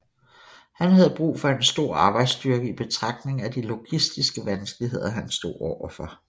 Han havde brug for en stor arbejdsstyrke i betragtning af de logistiske vanskeligheder han stod overfor